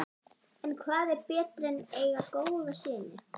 En hvað er betra en eiga góða syni?